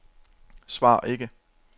svar ikke